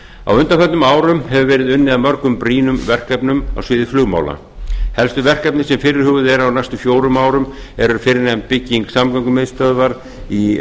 á undanförnum árum hefur verið unnið að mörgum brýnum verkefnum á sviði flugmála helstu verkefni sem fyrirhuguð eru á næstu fjórum árum eru fyrrnefnd bygging samgöngumiðstöðvar í